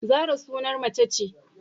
Zarah sunan mace ce